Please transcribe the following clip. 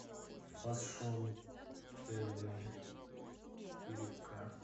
фэшн тв четыре к